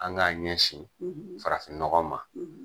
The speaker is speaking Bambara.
An k'an ɲɛsin farafinnɔgɔ ma.